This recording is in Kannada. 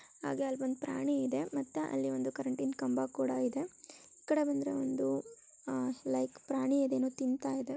ಹಾಗೆ ಎಲ್ಲ ಒಂದ್ ಪ್ರಾಣಿ ಇದೆ ಮತ್ತೆ ಅಲ್ಲಿ ಒಂದು ಕರೆಂಟಿನ ಕಂಬ ಇದೆ ಈ ಕಡೆ ಬಂದರೆ ಒಂದು ಲೈಕ್ ಪ್ರಾಣಿ ಅದೇನೋ ತಿಂತಾ ಇದೆ.